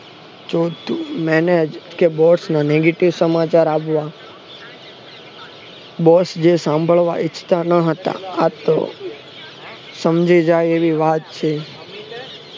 Job to manage કે boss ના negative સમાચાર આવ્યા બસ યે સાંભળવા ઈચ્છતા ન હતા આતો સમજી જાય એવી વાત છે